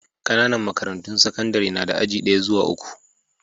Ƙananan makarantun sakandare na da aji daya zuwa uku.